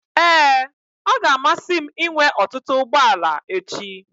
Ee, ọ ga-amasị m inwe ọtụtụ ụgbọ ala echi.